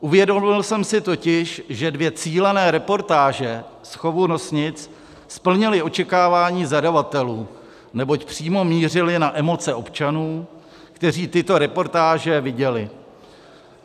Uvědomil jsem si totiž, že dvě cílené reportáže z chovu nosnic splnily očekávání zadavatelů, neboť přímo mířily na emoce občanů, kteří tyto reportáže viděli.